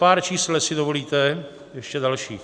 Pár čísel, jestli dovolíte, ještě dalších.